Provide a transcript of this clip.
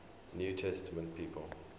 new testament people